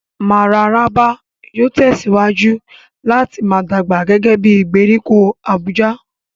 Mararaba yóò tẹ̀síwájú láti máa dàgbà gẹ́gẹ́ bí ìgbèríko Abuja.